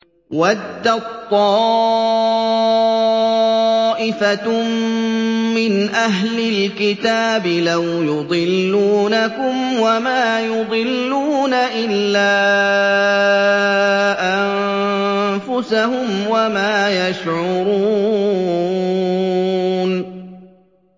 وَدَّت طَّائِفَةٌ مِّنْ أَهْلِ الْكِتَابِ لَوْ يُضِلُّونَكُمْ وَمَا يُضِلُّونَ إِلَّا أَنفُسَهُمْ وَمَا يَشْعُرُونَ